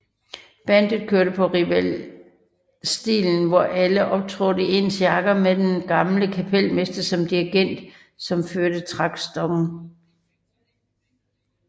Bandet kørte på revivalstilen hvor alle optrådte i ens jakker med den gamle kapelmester som dirrigenten som førte taktstokken